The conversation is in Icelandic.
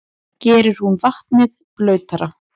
Gerir hún vatnið blautara?